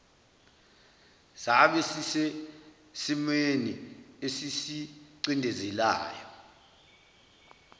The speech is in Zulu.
sabe sisesimweni esisicindezelayo